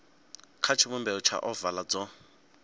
kha tshivhumbeo tsha ovala dzo